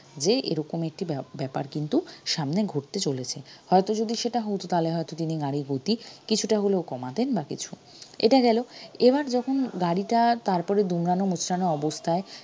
যে এরোকম একটি ব্য~ব্যাপার কিন্তু সামনে ঘটতে চলেছে হয়তো যদি সেটা হতো তাহলে হয়তো তিনি গাড়ির গতি কিছুটা হলেও কমাতেন বা কিছু এটা গেলো এবার যখন গাড়িটা তারপরও দুমড়ানো মোচড়ানো অবস্থায়